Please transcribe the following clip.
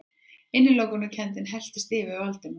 Innilokunarkenndin helltist yfir Valdimar.